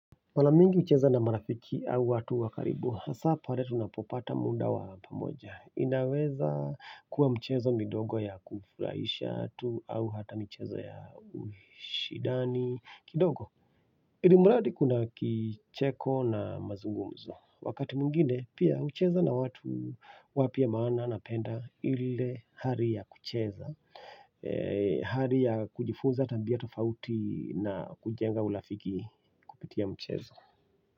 Mala mingi hucheza na marafiki au watu wa karibu hasa pare tunapopata muda wa pamoja inaweza kuwa mchezo midogo ya kufurahisha tu au hata michezo ya ushidani kidogo ili muradi kuna kicheko na mazungumzo wakati mwingine pia hucheza na watu wapya maana napenda ile hari ya kucheza hari ya kujifunza tabia tofauti na kujenga ulafiki kupitia mchezo kwa hivyo.